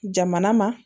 Jamana ma